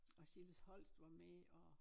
Og Silas Holst var med og